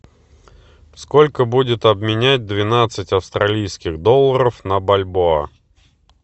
сколько будет обменять двенадцать австралийских долларов на бальбоа